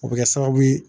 O bɛ kɛ sababu ye